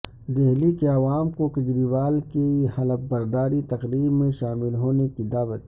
دہلی کے عوام کو کیجریوال کی حلف برداری تقریب میں شامل ہونے کی دعوت